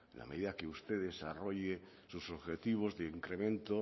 a medida que usted desarrolle sus objetivos de incremento